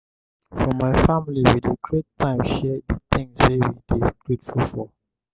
for my family we dey create time share di tins wey we dey grateful for.